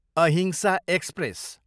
अहिंसा एक्सप्रेस